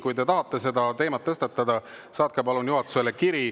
Kui te tahate seda teemat tõstatada, saatke palun juhatusele kiri.